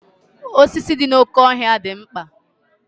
osisi dị n'oké ọhịa dị mkpa